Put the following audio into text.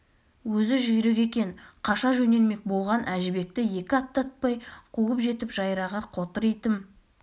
өзі жүйрік екен қаша жөнелмек болған әжібекті екі аттатпай қуып жетіп жайрағыр қотыр итім